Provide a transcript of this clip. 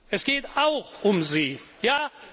Sie. Es geht auch um Sie,